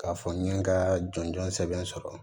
K'a fɔ n ye n ka jɔnjɔn sɛbɛn sɔrɔ